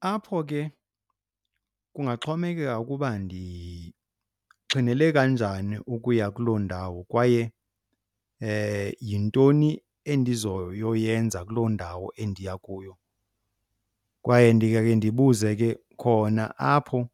Apho ke kungaxhomekeka ukuba ndixhinele kanjani ukuya kuloo ndawo kwaye yintoni endizoyoyenza kuloo ndawo endiya kuyo. Kwaye ndingake ndibuze ke khona apho